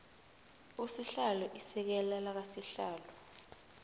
usihlalo isekela lakasihlalo